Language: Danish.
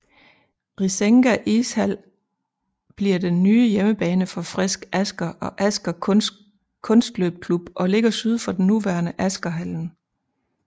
Risenga Ishall bliver den nye hjemmebane for Frisk Asker og Asker Kunstløpklubb og ligger syd for den nuværende Askerhallen